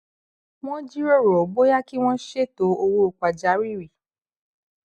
wón jíròrò bóyá kí wón ṣètò owó pàjáwìrì